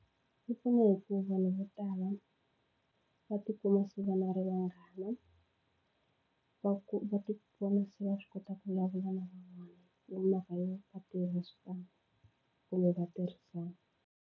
Yi pfuna hi ku vanhu vo tala va tikuma se va na ri vanghana va ku va tivona se va swi kota ku vulavula na van'wana hi mhaka yo va kumbe va tirhisana.